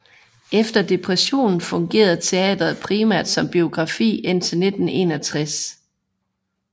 Efter depressionen fungerede teatret primært som biograf indtil 1961